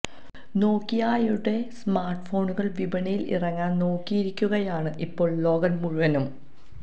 നോക്കിയായുടെ smart ഫോണുകൾ വിപണിയിൽ ഇറങ്ങാൻ നോക്കിയിരിക്കുകയാണ് ഇപ്പോൾ ലോകം മുഴുവനും